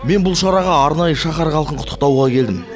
мен бұл шараға арнайы шаһар халқын құттықтауға келдім